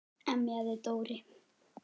emjaði Dóri.